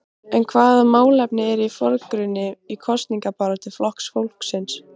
En hvaða málefni eru í forgrunni í kosningabaráttu Flokks fólksins?